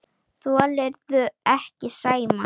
Þolirðu ekki Sæma?